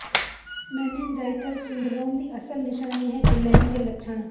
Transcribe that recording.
ਮੈਨਿਨਜਾਈਲਲ syndrome ਦੀ ਅਸਲ ਨਿਸ਼ਾਨੀ ਹੈ ਗਿਲੈਨ ਦੇ ਲੱਛਣ